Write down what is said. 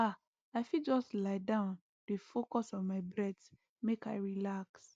ah i fit just lie down dey focus on my breath make i relax